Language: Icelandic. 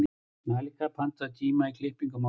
Malika, pantaðu tíma í klippingu á mánudaginn.